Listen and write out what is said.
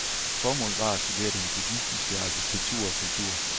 Formålet var at studere den buddhistiske arkitektur og kultur.